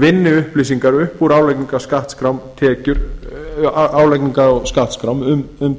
vinni upplýsingar upp úr álagningar og skattskrám um